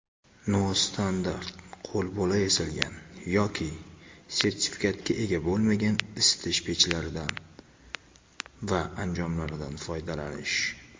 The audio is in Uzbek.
nostandart (qo‘lbola yasalgan) yoki sertifikatga ega bo‘lmagan isitish pechlari va anjomlaridan foydalanish;.